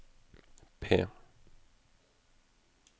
P